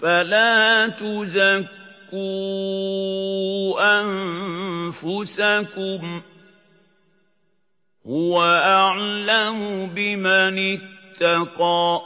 فَلَا تُزَكُّوا أَنفُسَكُمْ ۖ هُوَ أَعْلَمُ بِمَنِ اتَّقَىٰ